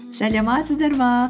саламатсыздар ма